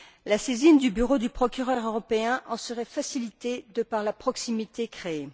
La saisine du bureau du procureur européen en serait facilitée, grâce à la proximité créée.